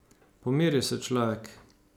Pomiri se, človek.